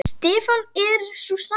Stefnan er sú sama.